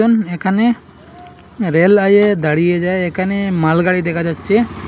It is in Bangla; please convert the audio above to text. উম এখানে রেল আইয়ে দাঁড়িয়ে যায় এখানে মালগাড়ি দেখা যাচ্ছে।